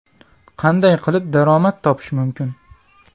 Qanday qilib daromad topish mumkin?